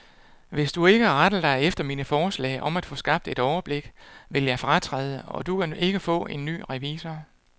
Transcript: Hvis du ikke retter dig efter mine forslag om at få skabt et overblik, vil jeg fratræde, og du kan ikke få en ny revisor.